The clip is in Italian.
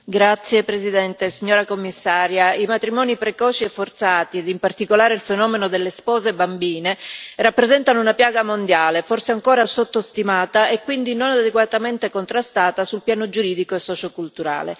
Signor Presidente, signora Commissaria, i matrimoni precoci e forzati, e in particolare il fenomeno delle spose bambine, rappresentano una piaga mondiale, forse ancora sottostimata e quindi non adeguatamente contrastata sul piano giuridico e socioculturale.